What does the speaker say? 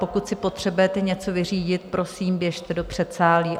Pokud si potřebujete něco vyřídit, prosím, běžte do předsálí.